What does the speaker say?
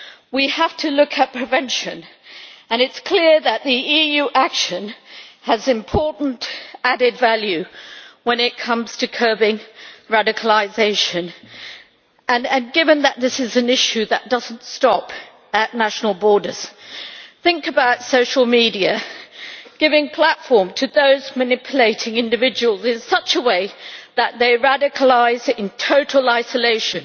We have to look at prevention, and it is clear that EU action has important added value when it comes to curbing radicalisation, and given that this is an issue that does not stop at national borders think about social media giving a platform to those manipulating individuals in such a way that they radicalise in total isolation